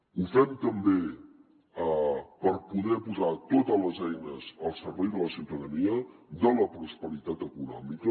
ho fem també per poder posar totes les eines al servei de la ciutadania de la prosperitat econòmica